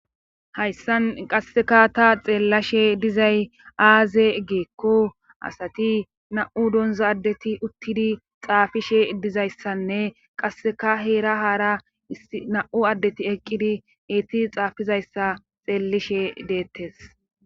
hayssan qasseka ta xeellashe dizay aaze giikko asati na7u donza addeti uttidi xaafishe dizayssanne qasseka heera haara na7u addeti eqqidi eeti xaafizayssa xeellishe deettes